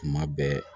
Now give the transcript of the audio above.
Kuma bɛɛ